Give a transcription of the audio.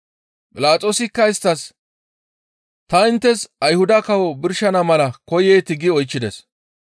Philaxoosikka isttas, «Ta inttes Ayhuda kawo birshana mala koyeetii?» gi oychchides.